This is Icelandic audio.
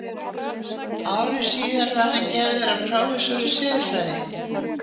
Ári síðar var hann gerður að prófessor í siðfræði.